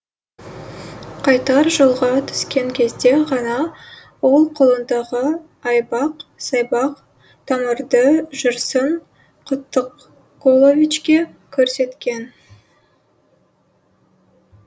қайтар жолға түскен кезде ғана ол қолындағы айбақ сайбақ тамырды жүрсін құттықұловичке көрсеткен